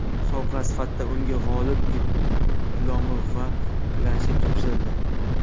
Sovg‘a sifatida unga g‘olib diplomi va planshet topshirildi.